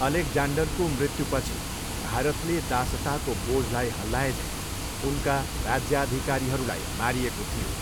अलेक्जान्डरको मृत्युपछि भारतले दासताको बोझलाई हल्लाएझैँ उनका राज्याधिकारीहरूलाई मारिएको थियो।